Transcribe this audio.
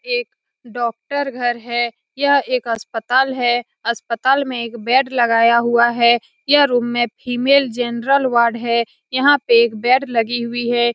एक डॉक्टर घर है यह एक अस्पताल है अस्पताल में एक बेड लगाया हुआ है यह रूम में फीमेल जनरल वार्ड है यहाँ पे एक बेड लगी हुई है ।